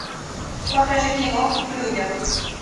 покажи кино в людях